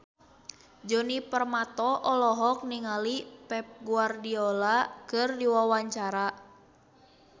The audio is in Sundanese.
Djoni Permato olohok ningali Pep Guardiola keur diwawancara